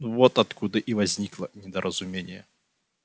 вот откуда и возникло недоразумение